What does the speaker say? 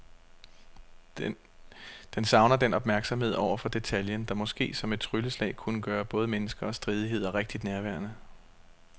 Den savner den opmærksomhed over for detaljen, der måske som et trylleslag kunne gøre både mennesker og stridigheder rigtig nærværende.